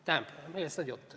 Tähendab, millest on jutt?